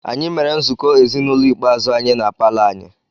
Anyị mere nzukọ ezinụlọ ikpeazụ anyị na palọ anyị.